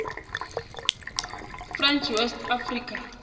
french west africa